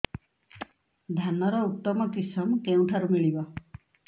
ଧାନର ଉତ୍ତମ କିଶମ କେଉଁଠାରୁ ମିଳିବ